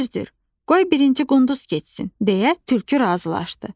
"Düzdür, qoy birinci qunduz keçsin," - deyə tülkü razılaşdı.